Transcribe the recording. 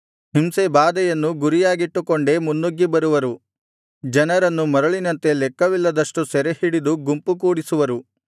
ಹಿಂಸೆ ಬಾಧೆಯನ್ನು ಗುರಿಯಾಗಿಟ್ಟುಕೊಂಡೆ ಮುನ್ನುಗ್ಗಿ ಬರುವರು ಜನರನ್ನು ಮರಳಿನಂತೆ ಲೆಕ್ಕವಿಲ್ಲದಷ್ಟು ಸೆರೆಹಿಡಿದು ಗುಂಪು ಕೂಡಿಸುವರು